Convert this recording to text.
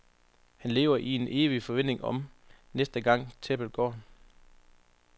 Han lever i en evig forventning om, næste gang tæppet går.